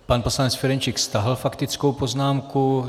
Pan poslanec Ferjenčík stáhl faktickou poznámku.